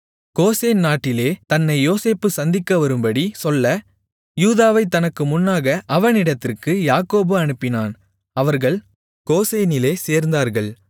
Goshen நாட்டிலே தன்னை யோசேப்பு சந்திக்க வரும்படி சொல்ல யூதாவைத் தனக்கு முன்னாக அவனிடத்திற்கு யாக்கோபு அனுப்பினான் அவர்கள் கோசேனிலே சேர்ந்தார்கள்